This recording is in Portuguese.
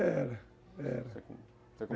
Era, era.